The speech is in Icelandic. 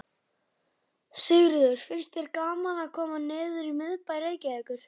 Sigríður: Finnst þér gaman að koma niður í miðbæ Reykjavíkur?